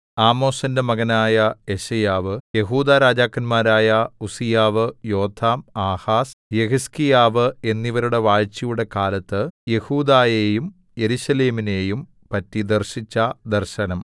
ആമോസിന്റെ മകനായ യെശയ്യാവ് യെഹൂദാരാജാക്കന്മാരായ ഉസ്സീയാവ് യോഥാം ആഹാസ് യെഹിസ്കീയാവ് എന്നിവരുടെ വാഴ്ചയുടെ കാലത്ത് യെഹൂദായെയും യെരൂശലേമിനെയും പറ്റി ദർശിച്ച ദർശനം